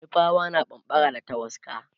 nupawa na bambara da tawaska